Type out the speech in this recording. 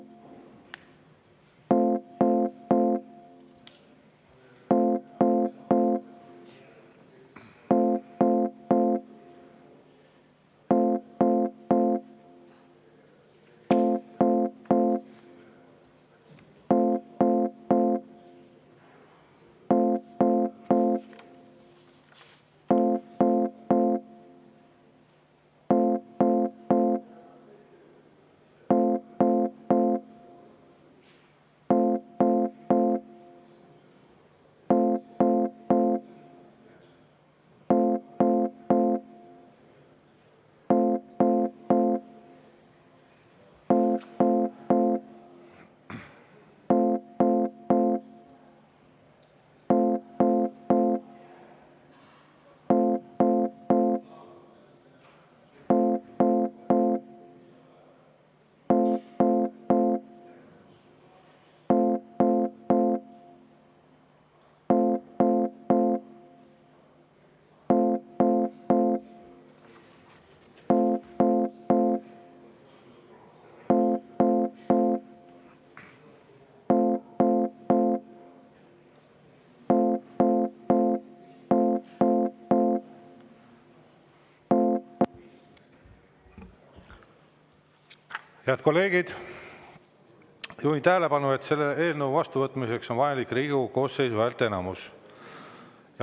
Head kolleegid, juhin tähelepanu, et selle eelnõu vastuvõtmiseks on vajalik Riigikogu koosseisu häälteenamus.